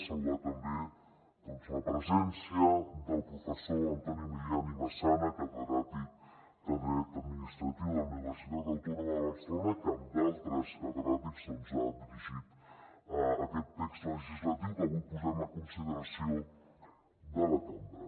saludar també la presència del professor antoni milian i massana catedràtic de dret administratiu de la universitat autònoma de barcelona que amb altres catedràtics ha dirigit aquest text legislatiu que avui posem a consideració de la cambra